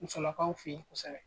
Musolakaw fɛ ye kosɛbɛ.